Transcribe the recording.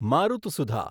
Marutsudha